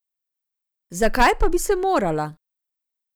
Zakaj pa bi se morala?